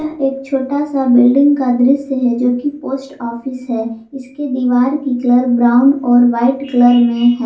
एक छोटा सा बिल्डिंग का दृश्य है जो की पोस्ट ऑफिस है इसके दीवार की कलर ब्राउन और वाइट कलर में है।